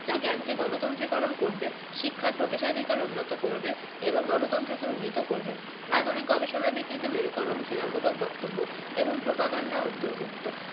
যা জ্ঞানকে গণতন্ত্রীকরণ করবে শিক্ষার প্রবেশাধিকার উন্নত করবে এবং গণতন্ত্রকে উন্নীত করবে আধুনিক গবেষণা বিকৃতিমেরুকরণ ঘৃণামূলক বক্তব্য এবং প্রোপাগান্ডা অন্তর্ভুক্ত